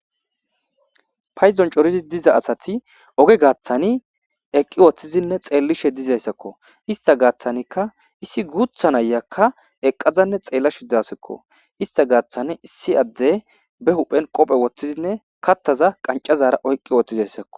paydon coridi diza asati oge gaaththani eqqi woththizinne xeellishe dizayssakko ista gaaththanikka issi guutha nayaka eqqazanne xeella shidzasikko ista gaaththani issi adde be huphen qophe woththizinne kattaza qancazara oyqqi wooththizayssakko